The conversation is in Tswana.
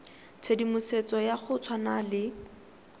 tshedimosetso ya go tshwana le